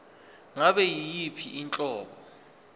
ngabe yiyiphi inhlobo